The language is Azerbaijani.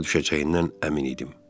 Başa düşəcəyindən əmin idim.